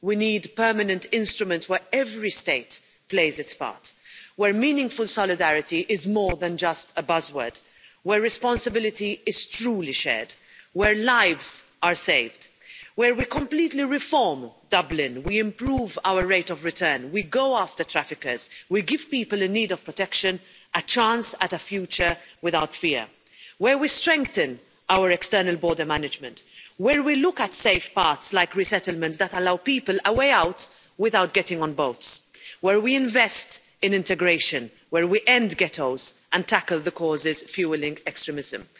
We need permanent instruments where every state plays its part, where meaningful solidarity is more than just a buzzword, where responsibility is truly shared, where lives are saved, where we completely reform Dublin, we improve our rate of return, we go after traffickers, we give people in need of protection a chance at a future without fear, where we strengthen our external border management, where we look at safe paths like resettlement that allow people a way out without getting on boats, where we invest in integration, where we end ghettos and tackle the causes fuelling extremism.